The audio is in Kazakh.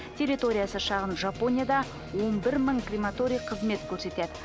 территориясы шағын жапонияда он бір мың крематорий қызмет көрсетеді